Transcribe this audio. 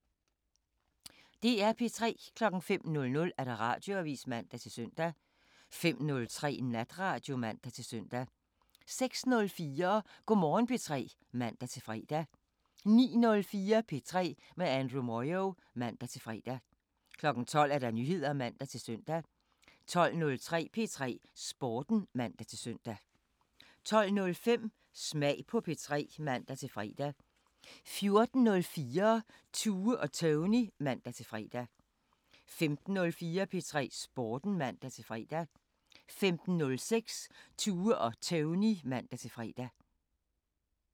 DR P3